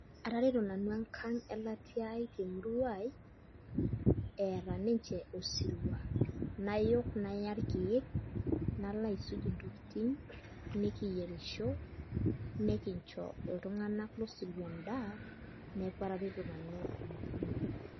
Atareto nanu enkang' elatiai temurua eeta ninche osirua nayok naya irkiek nalo aisuj ntokitin nikiyerisho nikincho ltung'anak losirua endaa neaku atareto nanu.